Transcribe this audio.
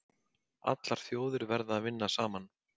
Allar þjóðir verði að vinna saman